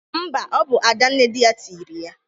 Mba, ọ bụ Ada nne dị ya tịrị ya.